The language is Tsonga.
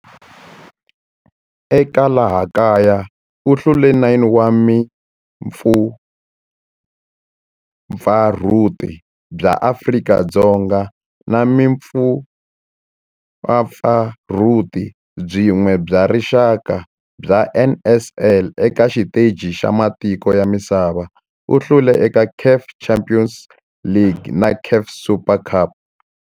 Eka laha kaya u hlule 9 wa vumpfampfarhuti bya Afrika-Dzonga na vumpfampfarhuti byin'we bya rixaka bya NSL. Eka xiteji xa matiko ya misava, u hlule eka CAF Champions League na CAF Super Cup.